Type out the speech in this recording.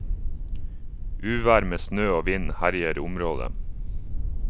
Uvær med snø og vind herjer området.